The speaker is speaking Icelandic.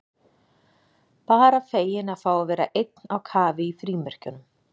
Bara feginn að fá að vera einn á kafi í frímerkjunum.